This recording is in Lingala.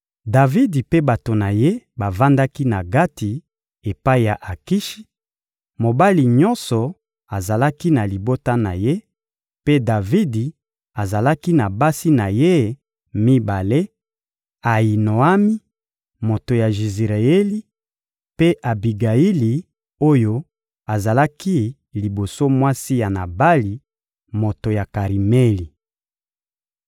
Davidi mpe bato na ye bavandaki na Gati epai ya Akishi: mobali nyonso azalaki na libota na ye, mpe Davidi azalaki na basi na ye mibale: Ayinoami, moto ya Jizireyeli, mpe Abigayili oyo azalaki liboso mwasi ya Nabali, moto ya Karimeli.